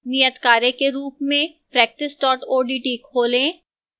नियतकार्य के रूप में